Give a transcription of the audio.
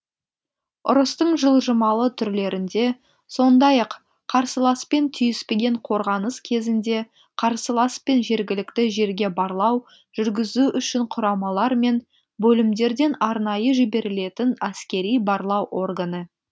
ұрыстың жылжымалы түрлерінде сондай ақ қарсыласпен түйіспеген қорғаныс кезінде қарсылас пен жергілікті жерге барлау жүргізу үшін құрамалар мен бөлімдерден арнайы жіберілетін әскери барлау органы